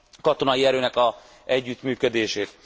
katonai erőnek az együttműködését.